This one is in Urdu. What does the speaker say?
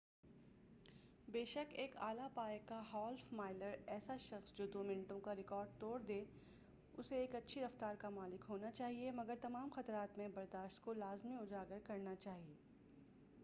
بے شک ایک اعلیٰ پائے کا ہالف مائلر ایسا شخص جو دو منٹوں کا ریکارڈ توڑ دے اسے ایک اچھی رفتار کا مالک ہونا چاہیئے مگر تمام خطرات میں برداشت کو لازمی اُجاگر کرنا چاہیے